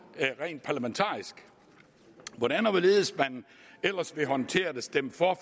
rent parlamentarisk hvordan og hvorledes man ellers vil håndtere det stemme for